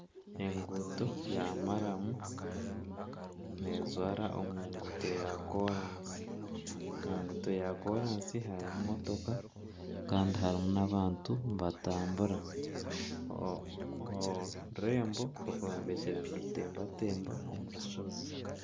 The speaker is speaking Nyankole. Enguuto ya maramu nejwara omu nkuuto ya koraasi. Omu nguuto ya koraasi harimu emotoka kandi harimu nana abantu nibatambura. Orurembo rwombekire nirutembatemba omu rushozi.